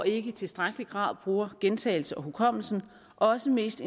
ikke i tilstrækkelig grad bruger gentagelsen og hukommelsen også mest